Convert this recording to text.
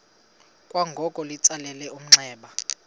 kwangoko litsalele umnxeba